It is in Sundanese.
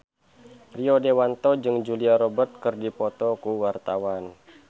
Rio Dewanto jeung Julia Robert keur dipoto ku wartawan